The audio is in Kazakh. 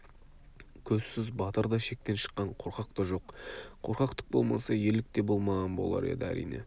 көзсіз батыр да шектен шыққан қорқақ та жоқ қорқақтық болмаса ерлік те болмаған болар еді әрине